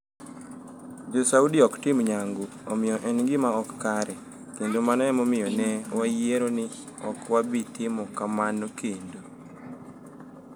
Jo Saudi ok tim nyangu, omiyo en gima ok kare, kendo mano e momiyo ne wayiero ni ok wabi timo kamano kendo.